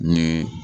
Ni